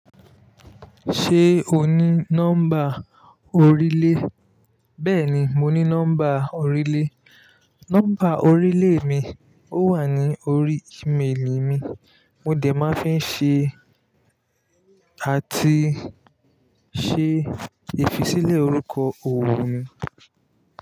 Ṣé o ní nọ́mbà orílè? Bẹ́ẹ̀ni, mo ní nọ́mbà orílè. Nọ́mbà orílè mi ò wà ní orí email mi. Mo dẹ̀ máa fi ń ṣe àti ṣe ìfisílẹ̀ orúkọ òwò mi.